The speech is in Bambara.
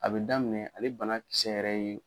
A bɛ daminɛ ale bana kisɛ yɛrɛ ye